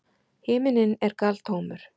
Himinninn er galtómur.